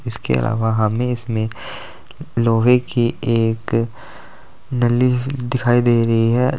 इसके अलावा हमें इसमें लोहे की एक नली दिखाई दे रही है।